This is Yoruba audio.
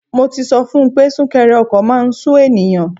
Mo ti sọ fun pé súnkẹrẹ ọkọ̀ máà ń sú ènìyàn.